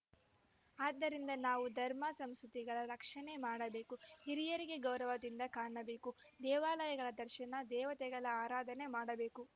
ಆದ್ದರಿಂದ ನಾವು ಧರ್ಮ ಸಂಸ್ಕೃತಿಗಳ ರಕ್ಷಣೆ ಮಾಡಬೇಕು ಹಿರಿಯರಿಗೆ ಗೌರವದಿಂದ ಕಾಣಬೇಕು ದೇವಾಲಯಗಳ ದರ್ಶನ ದೇವತೆಗಳ ಆರಾಧನೆ ಮಾಡಬೇಕು